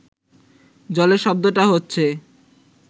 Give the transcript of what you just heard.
জলের শব্দটা হচ্ছে